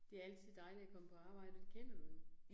Det altid dejligt at komme på arbejde, og det kender du jo